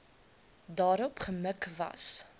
daarop gemik was